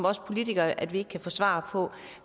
os politikere at vi ikke kan få svar på